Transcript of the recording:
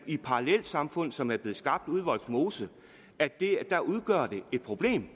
i parallelsamfund som er blevet skabt ude i vollsmose udgør et problem